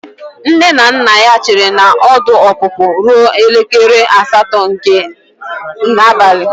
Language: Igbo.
Nne na nna ya chere na ọdụ ọpụpụ ruo elekere asatọ nke abalị.